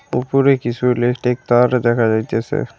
ওপরে কিছু ইলেকট্রিক তার দেখা যাইতাসে।